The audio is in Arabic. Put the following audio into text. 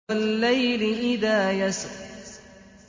وَاللَّيْلِ إِذَا يَسْرِ